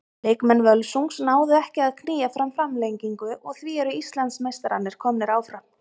Leikmenn Völsungs náðu ekki að að knýja fram framlengingu og því eru Íslandsmeistararnir komnir áfram.